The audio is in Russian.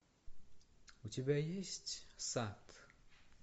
у тебя есть сад